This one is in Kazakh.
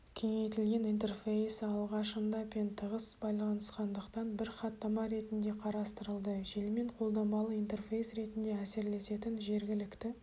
кеңейтілген интерфейсі алғашында пен тығыз байланысқандықтан бір хаттама ретінде қарастырылды желімен қолданбалы интерфейс ретінде әсерлесетін жергілікті